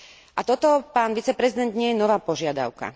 A toto, pán viceprezident, nie je nová požiadavka.